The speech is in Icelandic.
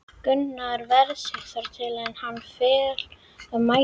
Gunnar ver sig þar til er hann féll af mæði.